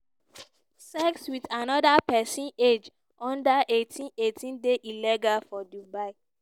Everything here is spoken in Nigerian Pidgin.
sex wit anoda pesin age under 18 18 dey illegal for dubai.